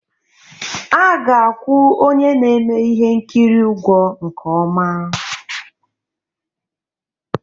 A ga-akwụ onye na-eme ihe nkiri ụgwọ nke ọma